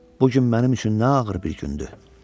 Bu gün mənim üçün nə ağır bir gündü.